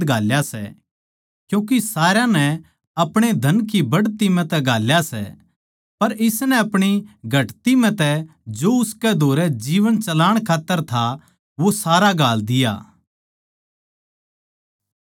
क्यूँके सारया नै आपणे धन की बढ़दी म्ह तै घाल्या सै पर इसनै आपणी घटदी म्ह तै जो उसकै धोरै जीवन चलाण खात्तर था वो सारा घाल दिया